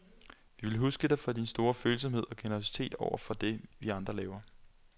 Vi vil huske dig for din store følsomhed og generøsitet også over for det, vi andre laver.